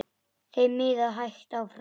Þeim miðaði hægt áfram.